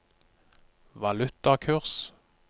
valutakurs